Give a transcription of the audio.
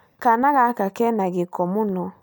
Kaana gaka kĩna gĩko mũno